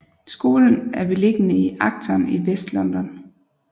Skolen er beliggende i Acton i Vestlondon